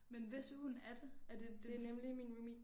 Men hvis hund er det? Er det det